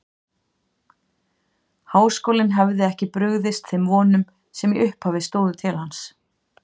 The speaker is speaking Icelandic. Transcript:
Háskólinn hefði ekki brugðist þeim vonum, sem í upphafi stóðu til hans.